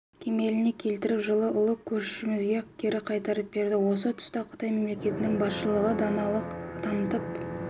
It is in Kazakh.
кемеліне келтіріп жылы ұлы көршімізге кері қайтарып берді осы тұста қытай мемлекетінің басшылығы даналық танытып